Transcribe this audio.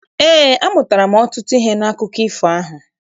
Eé, amụtara m ọtụtụ ihe n'akụkọ ifo ahụ.